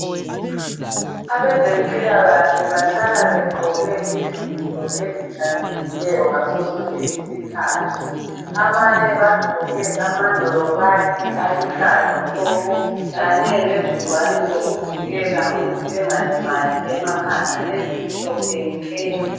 Abezemphilakahle bahlala begqoke izinto ezihlanzekileyo ngaso sonke iskhathi. Abanye bagqoke amanolobakhi aluhlaza tshoko, kanye lezingwane zokuvikela ukuthi bengalimali emakhanda ezimhlophe nke.